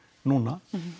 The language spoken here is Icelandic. núna